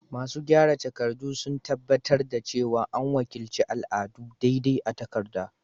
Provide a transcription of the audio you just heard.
Masu gyara takardu sun tabbatar da cewa an wakilci al'adu daidai a takarda.